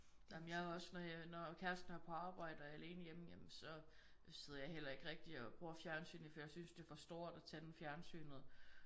Ej men jeg er også når jeg når kæresten er på arbejde og jeg er alene hjemme ja men så sidder jeg heller ikke rigtig og bruger fjernsynet for jeg synes det er for stort at tænde fjernsynet